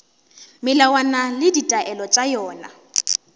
melawana le ditaelo tša yona